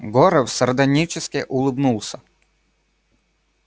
горов сардонически улыбнулся